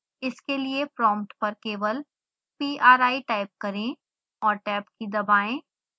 इसके लिए प्रोम्प्ट पर केवल pri टाइप करें और टैब की दबाएं